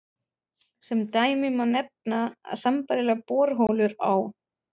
Sem dæmi má nefna að sambærilegar borholur á